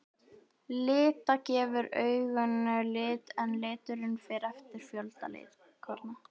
Lita gefur auganu lit en liturinn fer eftir fjölda litkorna.